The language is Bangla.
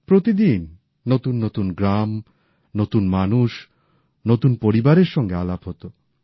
প্রতিদিন নতুন নতুন গ্রাম নতুন মানুষ নতুন পরিবারের সঙ্গে আলাপ হতো